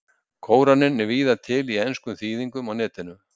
Kóraninn er víða til í enskum þýðingum á Netinu.